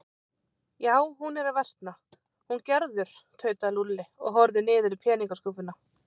Já, hún er að versna, hún Gerður tautaði Lúlli og horfði niður í peningaskúffuna.